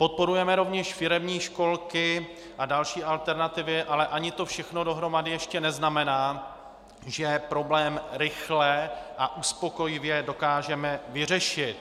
Podporujeme rovněž firemní školky a další alternativy, ale ani to všechno dohromady ještě neznamená, že problém rychle a uspokojivě dokážeme vyřešit.